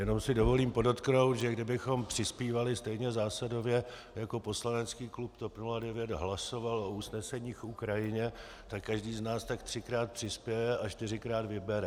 Jenom si dovolím podotknout, že kdybychom přispívali stejně zásadově, jako poslanecký klub TOP 09 hlasoval o usneseních k Ukrajině, tak každý z nás tak třikrát přispěje a čtyřikrát vybere.